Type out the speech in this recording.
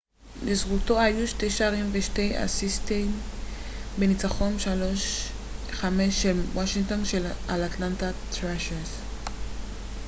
לזכותו היו 2 שערים ו-2 אסיסטים בניצחון 5 - 3 של וושינגטון על אטלנטה ת'ראשרס